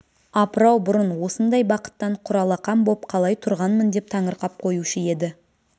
апырау бұрын осындай бақыттан құралақан боп қалай тұрғанмын деп таңырқап қоюшы еді